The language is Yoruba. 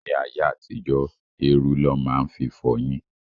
Ní ayé àtijó, érú lọ máa ń fi fọyín.